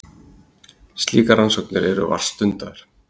slíkar rannsóknir eru vart stundaðar